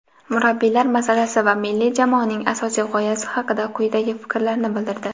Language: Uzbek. murabbiylar masalasi va milliy jamoaning asosiy g‘oyasi haqida quyidagi fikrlarni bildirdi.